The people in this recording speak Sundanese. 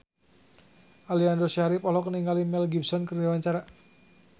Aliando Syarif olohok ningali Mel Gibson keur diwawancara